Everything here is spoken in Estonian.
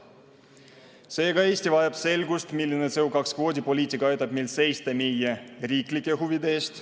Seega, Eesti vajab selgust, milline CO2 kvoodi poliitika aitab meil seista meie riiklike huvide eest.